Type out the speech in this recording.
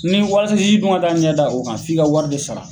Ni da ɲɛ da o kan f'i ka wari de sara.